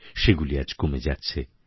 সেগুলি আজ কমে যাচ্ছে